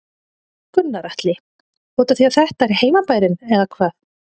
Gunnar Atli: Útaf því að þetta er heimabærinn eða hvað?